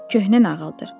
Köhnə nağıldır.